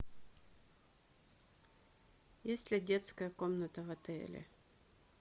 есть ли детская комната в отеле